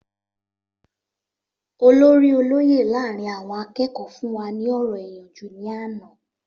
Olórí olóyè láàárín àwọn akẹ́kọ̀ọ́ fún wa ní ọ̀rọ̀ ìyànjú ní àná